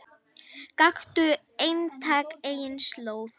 Gakktu einatt eigin slóð.